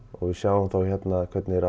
og við sjáum þá hérna hvernig þeir